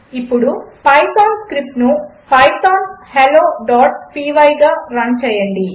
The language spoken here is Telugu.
ఇప్పుడు పైథాన్ స్క్రిప్ట్ను పైథాన్ helloపై గా రన్ చేయండి